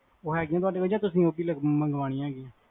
ਊ ਹੈਗੇਆਂ ਤੁਹਾਡੇ ਕੋਲ? ਜਾ ਤੁਸੀਂ ਊ ਵੀ ਮੰਗਵਾਣੇ ਹੈਗਿਆ ਨੇ?